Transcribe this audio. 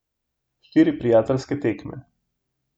Štiri prijateljske tekme.